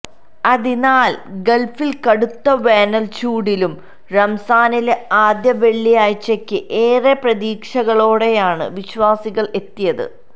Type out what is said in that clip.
അതിനാല് ഗള്ഫില് കടുത്ത വേനല്ച്ചൂടിലും റംസാനിലെ ആദ്യവെള്ളിയാഴ്ചയ്ക്ക് ഏറെ പ്രതീക്ഷകളോടെയാണ് വിശ്വാസികള് എത്തിയത്